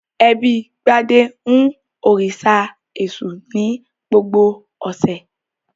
Ẹbí Gbadé ń òrìṣà Èṣù ní gbogbo ọ̀sẹ̀.